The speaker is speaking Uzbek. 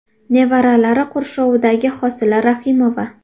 Nevaralari qurshovidagi Hosila Rahimova.